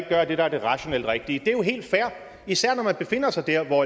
at gøre det der er det rationelt rigtige det er jo helt fair især når man befinder sig der hvor